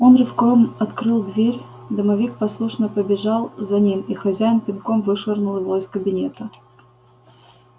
он рывком открыл дверь домовик послушно побежал за ним и хозяин пинком вышвырнул его из кабинета